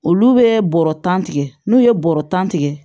Olu bɛ bɔrɔ tan tigɛ n'u ye bɔrɔ tan tigɛ